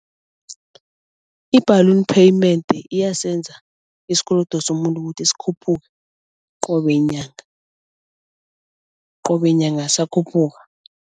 I-balloon payment iyasenza isikolodo somuntu ukuthi sikhuphuke qobe nyanga, qobe nyanga sakhuphuka.